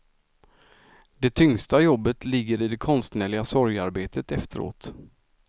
Det tyngsta jobbet ligger i det konstnärliga sorgearbetet efteråt.